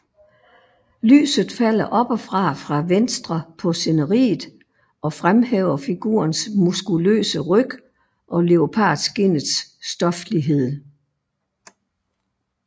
Lyset falder oppefra fra venstre på sceneriet og fremhæver figurens muskuløse ryg og leopardskindets stoflighed